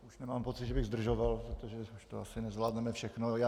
Už nemám pocit, že bych zdržoval, protože už to asi nezvládneme všechno.